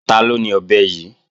Taló ni ọ̀bẹ yí?